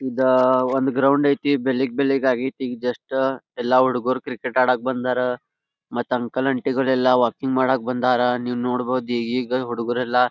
ಇದಾ ಒಂದ ಗ್ರೌಂಡ್ ಐತಿ ಬೆಳಿಗ್ ಬೆಳಿಗ್ ಆಗ್ಯತಿ ಈಗ ಜಸ್ಟ ಎಲ್ಲಾ ಹುಡುಗ್ರು ಕ್ರಿಕೆಟ್ ಆಡಕ್ಕ ಬಂದರ ಮತ್ ಅಂಕಲ್ ಆಂಟಿ ಗಳೆಲ್ಲಾ ವಾಕಿಂಗ್ ಮಾಡಕ್ಕ ಬಂದಾರ್ ನೀವ್ ನೋಡಬಹುದ್ ಈಗಾ ಹುಡುಗರೆಲ್ಲಾ --